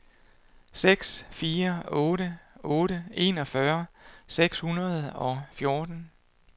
seks fire otte otte enogfyrre seks hundrede og fjorten